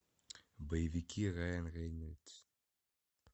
боевики райан рейнольдс